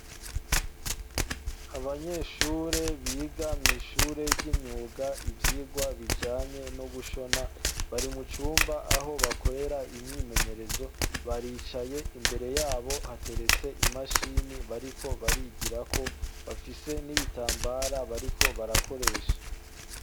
Abanyeshure biga mw'ishure ry'imyuga ivyirwa bijanye no gushona bari mucumba aho bakorera imyimenyerezo baricaye imbere yabo hateretse imashini bariko barigirako bafise n'ibitambara bariko barakoresha.